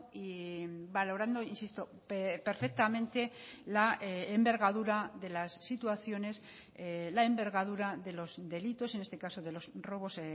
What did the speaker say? y valorando insisto perfectamente la envergadura de las situaciones la envergadura de los delitos en este caso de los robos